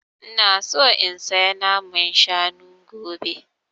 Ina so in saya naman shanu gobe